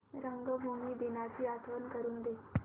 रंगभूमी दिनाची आठवण करून दे